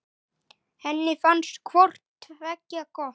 Henni fannst hvort tveggja gott.